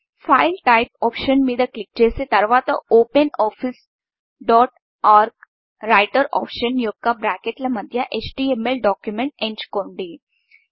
file Typeఫైల్ type option మీద click చేసి తరువాత open office open office dot org writer option యొక్క బ్రాకెట్ల మధ్య ఎచ్టీఎంఎల్ డాక్యుమెంట్ ఎంచుకోండి